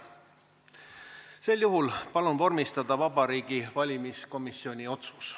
Sel juhul palun vormistada Vabariigi Valimiskomisjoni otsus.